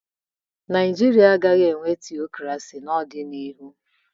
Ndi Naijiria agaghị enwe tịokresi na-odina ihụ